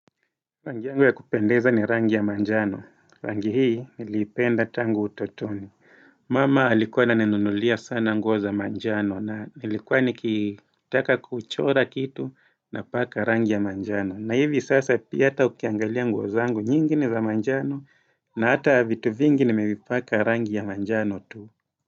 Rangi yangu ya kupendeza ni rangi ya majano. Rangi hii niliipenda tangu utotoni. Mama alikuwa na anunulia sana nguo za majano na nilikuwa nikitaka kuchora kitu na paka rangi ya majano. Na hivi sasa pia ata ukiangalia nguo zangu nyingi za majano na hata vitu vingi nimezipaka rangi ya majano tu.